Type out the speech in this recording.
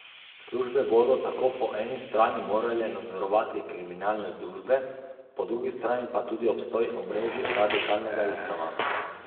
Službe bodo tako po eni strani morale nadzorovati kriminalne združbe, po drugi strani pa tudi obstoj omrežij radikalnega islama.